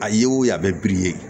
A ye wo ye a bɛ ye